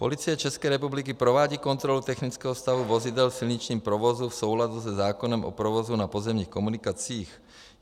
Policie České republiky provádí kontrolu technického stavu vozidel v silničním provozu v souladu se zákonem o provozu na pozemních komunikacích.